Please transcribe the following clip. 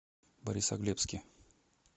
борисоглебске